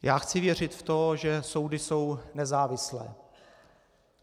Já chci věřit v to, že soudy jsou nezávislé.